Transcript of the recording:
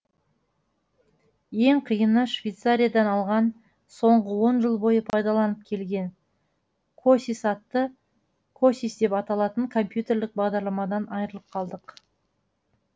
ең қиыны швейцариядан алған соңғы он жыл бойы пайдаланып келген косис атты косис деп аталатын компьютерлік бағдарламадан айырылып қалдық